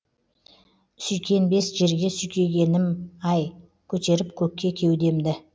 сүйкенбес жерге сүйкегенім ай көтеріп көкке кеудемді